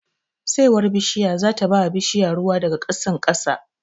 Saiwar bishiya zata bawa bishiya ruwa daga ƙasan ƙasa